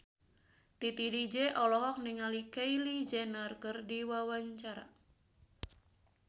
Titi DJ olohok ningali Kylie Jenner keur diwawancara